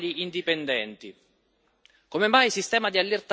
E come mai la Commissione non fa dei controlli indipendenti?